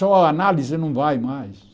Só a análise não vai mais.